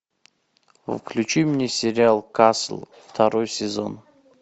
включи мне сериал касл второй сезон